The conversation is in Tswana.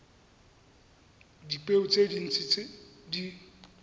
dipeo tse dintsi tse di